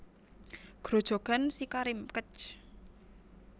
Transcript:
Grojogan SiKarim Kec